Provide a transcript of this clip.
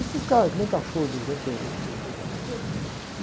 Esses caras, que nem cachorro, que de vez em quando tem.